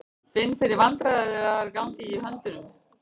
Finn fyrir vandræðagangi í höndunum.